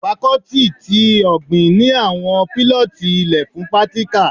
Fakọ́tì tí ọ̀gbìn ni àwọn pílọ́tì ilẹ fun pírátíkà